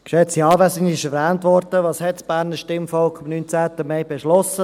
Es wurde erwähnt – was hat das Berner Stimmvolk am 19. Mai beschlossen?